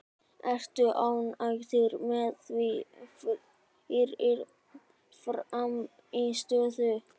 Ertu ánægð með þína frammistöðu?